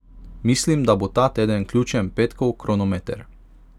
Mislim, da bo ta teden ključen petkov kronometer.